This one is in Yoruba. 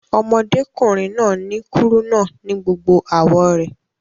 Ọmọdékùnrin náà ni kúrúnà ni gbogbo àwọ̀ rẹ̀